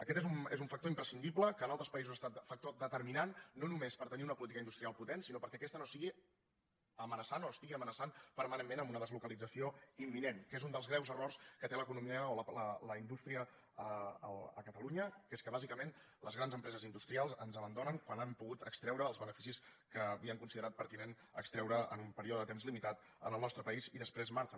aquest és un factor imprescindible que en altres països ha estat factor determinant no només per tenir una política industrial potent sinó perquè aquesta no sigui amenaçant o no estigui amenaçant permanentment amb una deslocalització imminent que és un dels greus errors que té l’economia o la indústria a catalunya que és que bàsicament les grans empreses industrials ens abandonen quan han pogut extreure els beneficis que havien considerat pertinent extreure en un període de temps limitat en el nostre país i després marxen